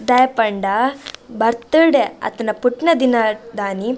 ದಾಯೆಗ್ ಪಂಡ ಬರ್ತ್ಡೇ ಅತ್ತ್ಂಡ ಪುಟ್ಟುನ ದಿನದಾನಿ.